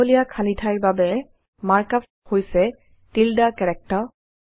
দীঘলীয়া খালী ঠাইৰ বাবে মাৰ্ক আপ হৈছে টিল্ডে কেৰেক্টাৰ